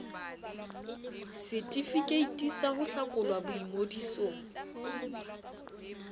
setefikeiti sa ho hlakolwa boingodisong